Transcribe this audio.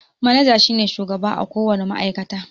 Manaja shi ne shugaba a ko wane ma'aikata.